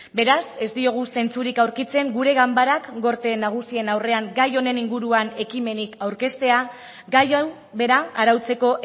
beraz ez diogu zentzurik aurkitzen gure ganbarak gorte nagusien aurrean gai honen inguruan ekimenik aurkeztea gai hau bera arautzeko